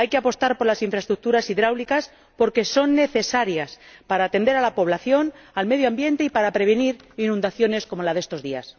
Hay que apostar por las infraestructuras hidráulicas, porque son necesarias para atender a la población, para el medio ambiente y para prevenir inundaciones como las de estos días.